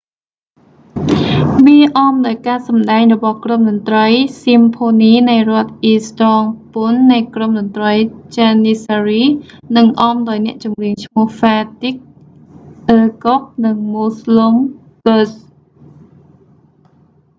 វាអមដោយ​ការ​សម្ដែង​របស់​ក្រុមតន្ត្រី​ស៊ីមផូនីនៃ​រដ្ឋ​អ៊ីស្តង់​ប៊ុល​នៃក្រុម​តន្ត្រី​ janissary និង​អម​ដោយ​អ្នក​ចម្រៀង​ឈ្មោះ​ fatih erkoç និង müslüm gürses។